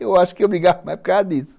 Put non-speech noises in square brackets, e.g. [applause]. [laughs] Aí eu acho que eu brigava mais por causa disso.